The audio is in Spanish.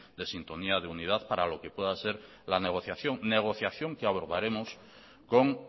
de sintonía de unidad para lo que pueda ser la negociación negociación que abordaremos con